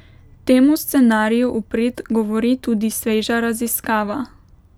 Temu scenariju v prid govori tudi sveža raziskava.